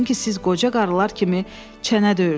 Çünki siz qoca qarılar kimi çənə döyürsünüz.